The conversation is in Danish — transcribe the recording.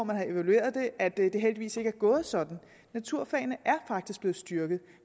er evalueret at det heldigvis ikke er gået sådan naturfagene er faktisk blevet styrket